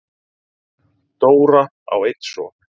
Dóra á einn son.